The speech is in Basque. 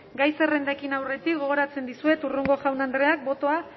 gai zerrendari ekin aurretik gogoratzen dizuet hurrengo jaun andreek botoa